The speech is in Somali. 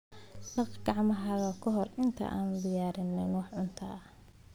Dhaq gacmahaaga ka hor intaadan diyaarin wax cunto ah.